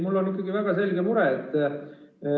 Mul on ikkagi väga selge mure.